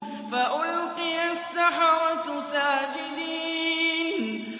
فَأُلْقِيَ السَّحَرَةُ سَاجِدِينَ